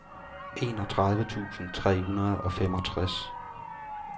enogtredive tusind tre hundrede og femogtres